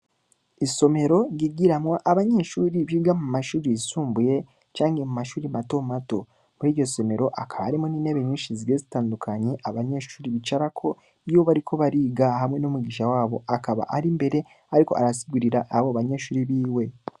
Isomero ryigiramwo abanyeshuri biga mu mashure yisumbuye, canke mato mato; muri iryo somero hakaba harimwo n’intebe nyinshi zigiye zitandukanye, abanyeshuri bicarako iyo bariko bariga, hamwe n’umwigisha wabo akaba ari imbere, ariko arasigurira abo banyeshuri biwe.